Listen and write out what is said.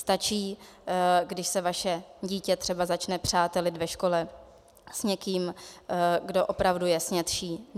Stačí, když se vaše dítě třeba začne přátelit ve škole s někým, kdo opravdu je snědší.